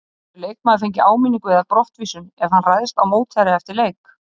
Getur leikmaður fengið áminningu eða brottvísun ef hann ræðst á mótherja eftir leik?